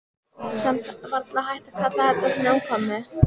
Samt varla hægt að kalla þetta snjókomu.